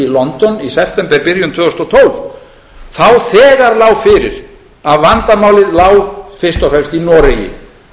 london í septemberbyrjun tvö þúsund og tólf þá þegar lá fyrir að vandamálið lá fyrst og fremst í noregi